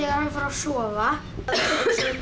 að sofa